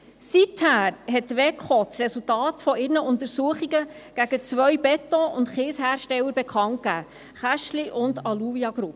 Seither hat die eidgenössische Wettbewerbskommission (WEKO) das Resultat ihrer Untersuchungen gegen zwei Beton- und Kieshersteller bekannt gegeben: die Kästli- und die Alluvia-Gruppe.